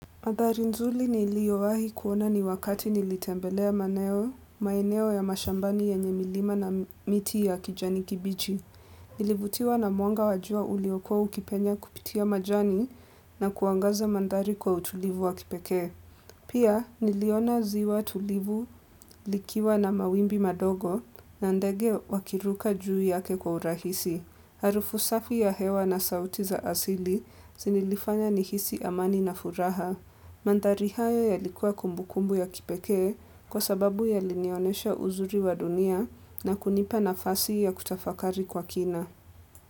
Manthari nzuri niliyowahi kuona ni wakati nilitembelea maeneo, maeneo ya mashambani yenye milima na miti ya kijani kibichi. Nilivutiwa na mwanga wajua uliokuwa ukipenya kupitia majani na kuangaza manthari kwa utulivu wa kipekee. Pia niliona ziwa tulivu likiwa na mawimbi madogo na ndege wakiruka juu yake kwa urahisi. Harufu safi ya hewa na sauti za asili zinilifanya nihisi amani na furaha. Manthari haya yalikuwa kumbukumbu ya kipekee kwa sababu yalinionesha uzuri wa dunia na kunipa nafasi ya kutafakari kwa kina.